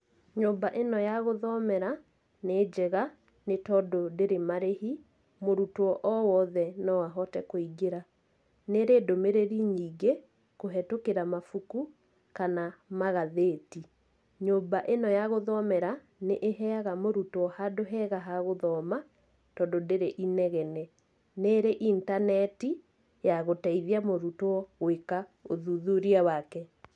Nyũmba ĩno ya gũthomera, nĩ njega, nĩ tondũ ndĩrĩ marĩhi, mũrutwo o wothe no ahote kũingĩra. Nĩrĩ ndũmĩrĩri nyingĩ, kũhĩtũkĩra mabuku, kana magathĩti. Nyũmba ĩno ya gũthomera, nĩ ĩheaga mũrutwo handũ hega ha gũthoma, tondũ ndĩrĩ inegene. Nĩrĩ intaneti, ya gũteithia mũrutwo gwĩka ũthuthuria wake.